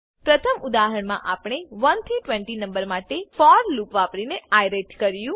પ્રથમ ઉદાહરણમા આપણે 1 થી 20 નંબર માટે ફોર લૂપ વાપરીને આયરેટ કર્યું